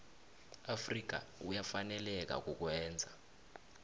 afrika uyafaneleka kukwenza